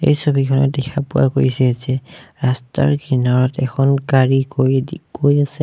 এই ছবিখনত দেখা পোৱা গৈছে যে ৰাস্তাৰ কিনাৰত এখন গাড়ী গৈ গৈ আছে।